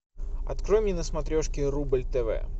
открой мне на смотрешке рубль тв